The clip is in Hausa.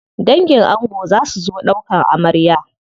Dangin ango za su zo ɗaukan amarya.